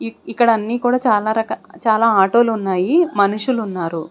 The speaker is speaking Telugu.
ఇక్ ఇక్కడ అన్నీ కూడా చాల రక చాల ఆటోలున్నాయి మనుషులున్నారు.